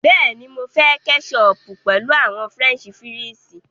Bẹ́ẹ̀ni, Mo ǹ fẹ kẹ́chọpù pẹ̀lú àwọn French fírìsí.